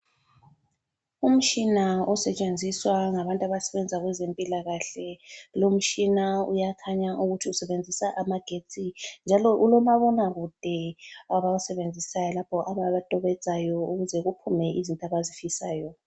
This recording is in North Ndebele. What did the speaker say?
Umtshina osetshenziswa ngabantu bezempilakahle. Lo umtshina uyakhanya ukuthi usebenzisa amagetsi njalo ulomabona kude abawusebenzisayo lapho abatobedzayo ukuze kuphume izinto abazifisayo.